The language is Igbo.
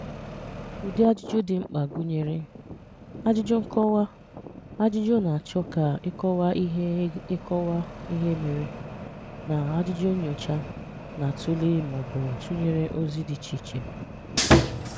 Ụ́dị̀ ajụ́jụ̀ dị̀ mkpà gụ̀nyerè: Ajụ́jụ̀ nkọ̀wà, ajụ́jụ̀ na-áchọ̀ ka ịkọ̀wà ihè ịkọ̀wà ihè mèré, na ajụ́jụ̀ nnyòchà na-atụ̀lè̀ ma ọ̀bụ̀ tụ̀nyerè òzì dị̀ ichè ichè.